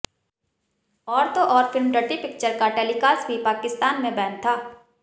और तो और फिल्म डर्टी पिक्चर का टेलिकास्ट भी पाकिस्तानी में बैन था